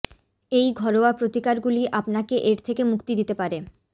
এই ঘরোয়া প্রতিকারগুলি আপনাকে এর থেকে মুক্তি দিতে পারে